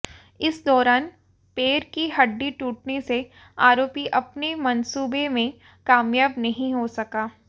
इस दौरान पैर की हड्डी टूटने से आरोपी अपने मंसूबे में कामयाब नहीं हो सका